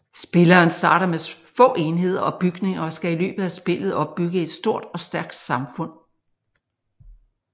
Spilleren starter med få enheder og bygninger og skal i løbet af spillet opbygge et stort og stærkt samfund